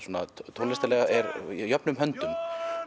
tónlistarlega jöfnum höndum